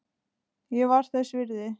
Ég var þess virði.